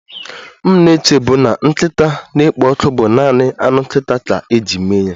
M na-echebu na nkịta na-ekpo ọkụ bụ naanị anụ nkịta ka eji eme ya